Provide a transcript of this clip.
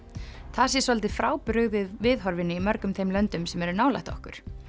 það sé svolítið viðhorfinu í mörgum þeim löndum sem eru nálægt okkur